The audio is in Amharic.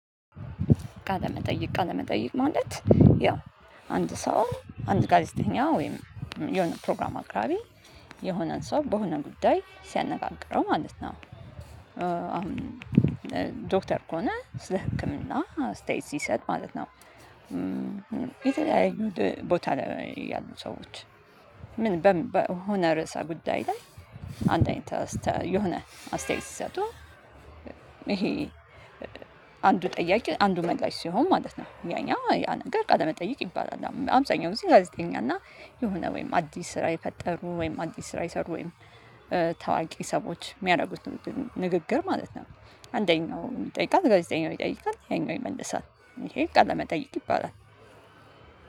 ቃለመጠይቅ ቃለመጠይቅ ማለት ያው አንድ ሰው አንድ ጋዜጠኛ ወይም የሆነ ፕሮግራም አቅራቢ የሆነን ሰው በሆነ ጉዳይ ሲያነጋግረው ማለት ነው አሁን ዶክተር ከሆነ ስለ ህክምና አስተያየት ሲሰጥ ማለት ነው። የተለያዩ ቦታ ላይ ያሉ ሰዎች ምን በሆነ ርዕሰ ጉዳይ ላይ አንድ አይነት የሆነ አስተያየት ሲሰጡ። ይሄ አንዱ ጠያቂ አንዱ መላሽ ሲሆን ማለት ነው ያ ያ ነገር ቃለ መጠየቅ ይባላል። አብታኛው እዚህ ጋዜጠኛ እና የሆነ ወይም አዲስ ስራ የፈጠሩ ወይም አዲስ ስራ የሰሩ ወይም ተዋቂ ሰዎች የሚያደርጉት ንግግር ማለት ነው። አንደኛው ይጠይቃል ጋዜጠኛው ይጠይቃል ያኛው ይመልሳል ይሄን ቃል ለመጠየቅ ይባላል።